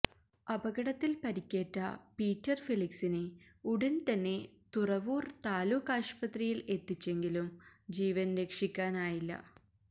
അപകടത്തില് പരിക്കേറ്റ പീറ്റര് ഫെലിക്സിനെ ഉടന് തന്നെ തുറവൂര് താലൂക്ക് ആശുപത്രിയില് എത്തിച്ചെങ്കിലും ജീവന് രക്ഷിക്കാനായില്ല